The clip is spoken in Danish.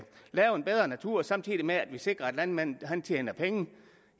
lave en bedre natur samtidig med at vi sikrer at landmanden tjener penge